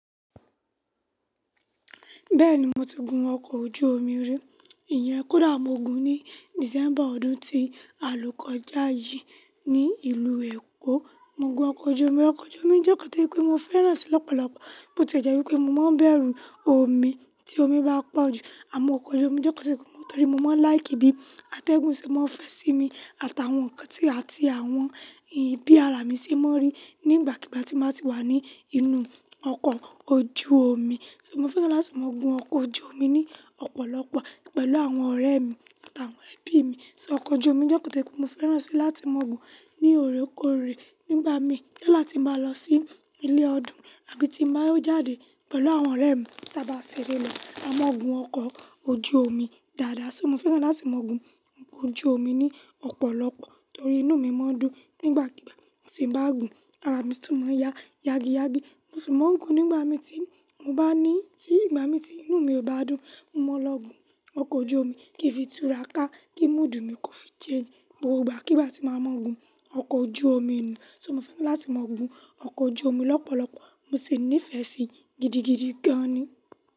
Bẹ́ẹ̀ni, mo ti gun ọkọ̀ ojú omi rí, ìyẹn Kódà mo gun ní December ọdún tí àlò kojá yii ní ìlú Èkó. Mo gun ọkọ̀ ojú omi, ọkọ̀ ojú omi jẹ́ kàn tí pé mo fẹ́ràn rẹ̀ s8 lọ́pọ̀lọpọ̀, bó ti jẹ́ wípé mo máa ń bẹ̀rù omi tí omi bá pọ̀ jù, àmọ́ ọkọ̀ ojú omi jẹ́ kàn tí pé mo, torí mo máa ń láì kí bí atẹ́gùn ṣe máa ń fẹ́ sí mi àtàwọn nǹkan tí àti àwọn ìbí àrà mi ṣe máa ń rí nígbàkigbà tí mo bá ti wà ní inú ọkọ̀ ojú omi. So mo fẹ́ràn láti máa gun ọkọ̀ ojú omi ní ọ̀pọ̀lọpọ̀ pẹ̀lú àwọn ọ̀rẹ́ mi àtàwọn ẹbí mi. So ọkọ̀ ojú omi jẹ́ kàn tí pé mo fẹ́ràn rẹ̀ sí láti máa gun ní òrékòrè nígbà mi kíláti máa lọ sí ilé ọdún àbí tí màá jáde pẹ̀lú àwọn ọ̀rẹ́ mi tí a bá ṣeré lọ, a máa gun ọkọ̀ ojú omi dáadáa. So mo fẹ́ràn láti máa gun ọkọ̀ ojú omi ní ọ̀pọ̀lọpọ̀ torí inú mi máa ń dùn nígbàkigbà tí n bá gun, àrà mi sì tún máa ń ya yagi yagi. Mo sì máa ń gun nígbà mi tí mo bá ní, kí ìgbà mi tí inú mi ò bá dùn, mo máa lọ gun ọkọ̀ ojú omi kí fìtúra ká, kí mood mi kó fi change gbogbo ìgbà kí bá ti máa má gun ọkọ̀ ojú omi nùún So mo fẹ́ràn láti máa gun ọkọ̀ ojú omi lọ́pọ̀lọpọ̀, mo sì nífẹ̀ẹ́ sí i gidigidi gan ni.